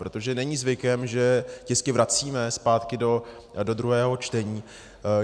Protože není zvykem, že tisky vracíme zpátky do druhého čtení.